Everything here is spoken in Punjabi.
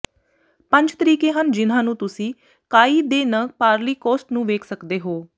ਪੰਜ ਤਰੀਕੇ ਹਨ ਜਿਨ੍ਹਾਂ ਨੂੰ ਤੁਸੀਂ ਕਾਅਈ ਦੇ ਨ ਪਾਰਲੀ ਕੋਸਟ ਨੂੰ ਵੇਖ ਸਕਦੇ ਹੋ